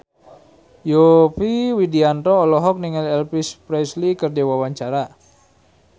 Yovie Widianto olohok ningali Elvis Presley keur diwawancara